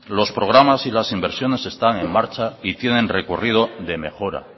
los programas y las inversiones que están en marcha y tienen recorrido de mejora